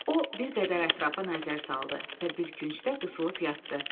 O bir qədər ətrafa nəzər saldı və bir küncdə qısılıb yatdı.